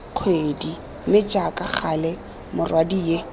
kgwedi mme jaaka gale morwadie